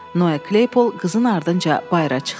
Noe Kleypol qızın ardınca bayıra çıxdı.